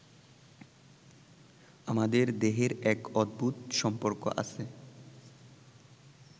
আমাদের দেহের এক অদ্ভূত সম্পর্ক আছে